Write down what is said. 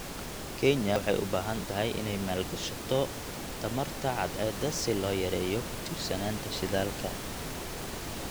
Kenya waxay u baahan tahay inay maalgashato tamarta cadceedda si loo yareeyo ku tiirsanaanta shidaalka.